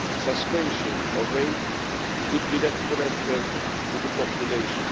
Suspension of aid could be detrimental to the population.